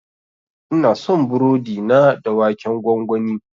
Ina son burodi na da waken gwangwani.